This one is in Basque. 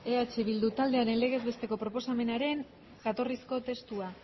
eh bildu taldearen legez besteko proposamenaren jatorrizko testua